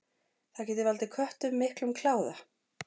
Það getur valdið köttum miklum kláða.